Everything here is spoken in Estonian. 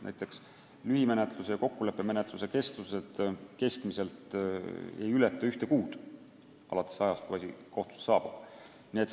Näiteks lühimenetluse ja kokkuleppemenetluse kestus keskmiselt ei ületa ühte kuud alates ajast, kui asi kohtusse saabub.